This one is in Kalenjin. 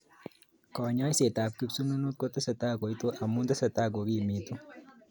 Konyoisetab kipsununut koetesetai kouitu amu tesetai kokimitu